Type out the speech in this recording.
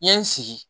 N ye n sigi